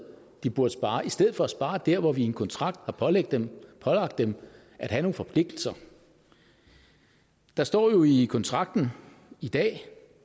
de burde spare i stedet for at spare der hvor vi i en kontrakt har pålagt dem at have nogle forpligtelser der står jo i kontrakten i dag